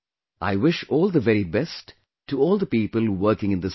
I wish all the very best to all the people working in this field